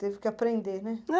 Teve que aprender, né?